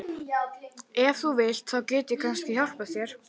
Ef þú vilt. þá get ég kannski hjálpað þér.